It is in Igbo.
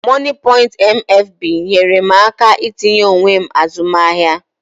Mọnịpọịnt MFB nyeere m aka n'itinye onwe m azụmahịa